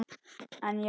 En já.